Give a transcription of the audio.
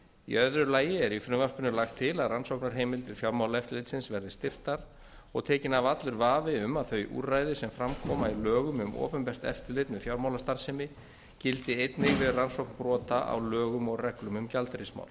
í öðru lagi er í frumvarpinu lagt til að rannsóknarheimildir fjármálaeftirlitsins verði styrktar og tekinn af allur vafi um að þau úrræði sem fram koma í lögum um opinbert eftirlit með fjármálastarfsemi gildi einnig við rannsókn brota á lögum og reglum um gjaldeyrismál